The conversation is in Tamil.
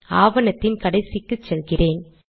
ஆவணத்தின் கடைசிக்கு செல்கிறேன்